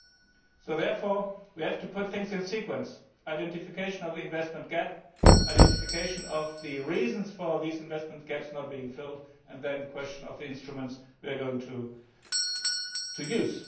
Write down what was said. We therefore have to put things in sequence identification of the investment gap, identification of the reasons for these investment gaps not being filled, and then the question of the instruments we are going to use.